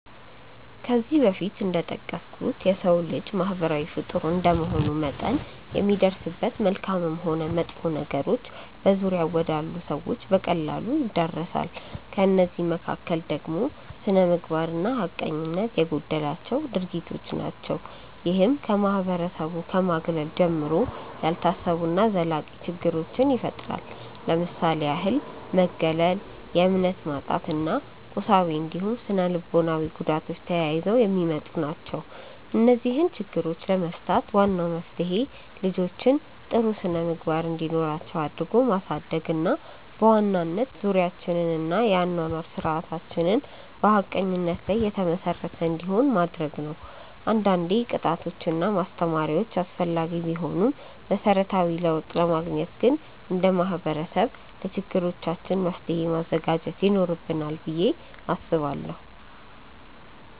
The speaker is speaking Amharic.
ከዚህ በፊት እንደጠቀስኩት የሰው ልጅ ማህበራዊ ፍጡር እንደመሆኑ መጠን የሚደርስበት መልካምም ሆን መጥፎ ነገሮች በዙሪያው ወዳሉ ሰዎች በቀላሉ ይዳረሳል። ከእነዚህ መካከል ደግሞ ስነምግባር እና ሀቀኝነት የጎደላቸው ድርጊቶች ናቸው። ይህም ከማህበረሰቡ ከማግለል ጀምሮ፣ ያልታሰቡ እና ዘላቂ ችግሮችን ይፈጥራል። ለምሳሌ ያህል መገለል፣ የእምነት ማጣት እና የቁሳዊ እንዲሁም ስነልቦናዊ ጉዳቶች ተያይዘው የሚመጡ ናቸው። እነዚህን ችግሮች ለመፍታት ዋናው መፍትሄ ልጆችን ጥሩ ስነምግባር እንዲኖራቸው አድርጎ ማሳደግ እና በዋናነት ዙሪያችንን እና የአኗኗር ስርዓታችንን በሀቀኝነት ላይ የተመሰረተ እንዲሆን ማድረግ ነው። አንዳንዴ ቅጣቶች እና ማስተማሪያዎች አስፈላጊ ቢሆኑም መሰረታዊ ለውጥ ለማግኘት ግን እንደ ማህበረሰብ ለችግሮቻችን መፍትሔ ማዘጋጀት ይኖርብናል ብዬ አስባለሁ።